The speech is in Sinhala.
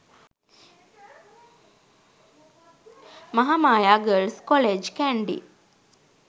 mahamaya girls college kandy